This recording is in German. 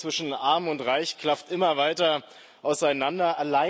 Die Schere zwischen Arm und Reich klafft immer weiter auseinander.